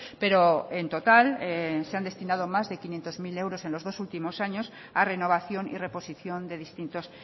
pero en total se han destinado más de quinientos mil euros en los dos últimos años a renovación y reposición de distintos